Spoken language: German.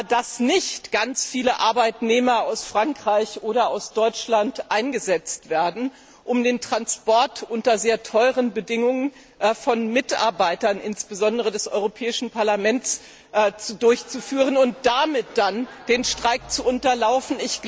dass nicht ganz viele Arbeitnehmer aus Frankreich oder aus Deutschland eingesetzt werden, um den Transport unter sehr teuren Bedingungen von Mitarbeitern insbesondere des Europäischen Parlaments durchzuführen und damit dann den Streik zu unterlaufen.